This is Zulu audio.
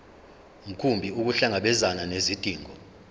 mkhumbi ukuhlangabezana nezidingo